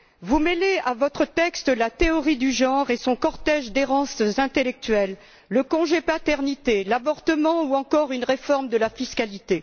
Vous mêlez à votre texte la théorie du genre et son cortège d'errances intellectuelles le congé de paternité, l'avortement ou encore une réforme de la fiscalité.